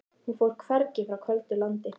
Hún fór hvergi, frá köldu landi.